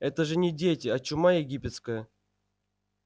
это же не дети а чума египетская